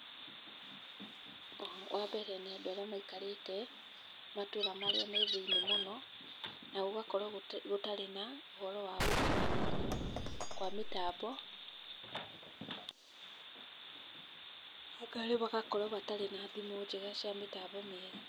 Wa mbere, nĩ andũ arĩa maikarĩte matũũra marĩa me thĩiniĩ mũno na ũgakora gũtarĩ na ũhoro wa gũkinyanĩrio kwa mĩtambo, wa kerĩ magakorwo matarĩ na thimũ njega cia mĩtambo mĩega.